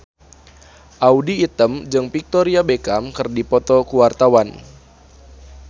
Audy Item jeung Victoria Beckham keur dipoto ku wartawan